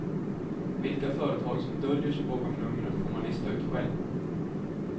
Vilka företag som döljer sig bakom numren får man lista ut själv.